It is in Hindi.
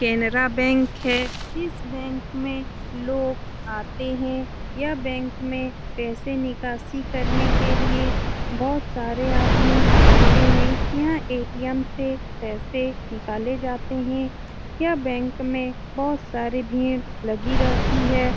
कैनरा बैंक है इस बैंक में लोग आते हैं यह बैंक में पैसे निकासी करने के लिए बहुत सारे आदमी आते हैं यहाँ ए.टी.एम. से पैसे निकाले जाते हैं यह बैंक में बहुत सारी भीड़ लगी रहती है।